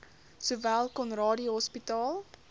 sowel conradie hospitaal